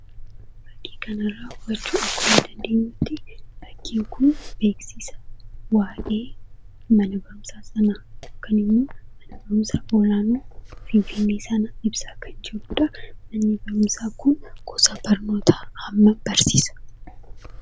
Fakkii kanarra hubachuu akka dandeenyutti fakkiin kun beeksisa waa'ee Manabarumsa sanaa kan himu, Mana barumsa olaanu Finfinnee sanaa ibsa kan jirudha. Manni barumsa kun gosa barnoota ammamma barsiisa?